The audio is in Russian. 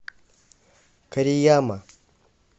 корияма